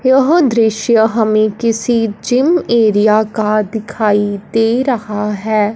यह दृश्य हमें किसी जिम एरिया का दिखाई दे रहा है।